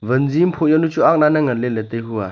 wanzi am phuh yanu chu agna ne ngan ley ley taihua.